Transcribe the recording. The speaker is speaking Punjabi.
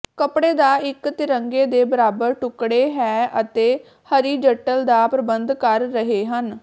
ਕੱਪੜੇ ਦਾ ਇੱਕ ਤਿਰੰਗੇ ਦੇ ਬਰਾਬਰ ਟੁਕੜੇ ਹੈ ਅਤੇ ਹਰੀਜੱਟਲ ਦਾ ਪ੍ਰਬੰਧ ਕਰ ਰਹੇ ਹਨ